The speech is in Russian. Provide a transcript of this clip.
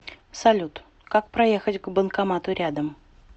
салют как проехать к банкомату рядом